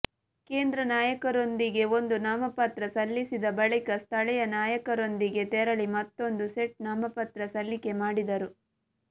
ಕೇಂದ್ರ ನಾಯಕರೊಂದಿಗೆ ಒಂದು ನಾಮಪತ್ರ ಸಲ್ಲಿಸಿದ ಬಳಿಕ ಸ್ಥಳೀಯ ನಾಯಕರೊಂದಿಗೆ ತೆರಳಿ ಮತ್ತೂಂದು ಸೆಟ್ ನಾಮಪತ್ರ ಸಲ್ಲಿಕೆ ಮಾಡಿದರು